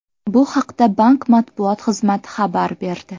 Bu haqda bank matbuot xizmati xabar berdi .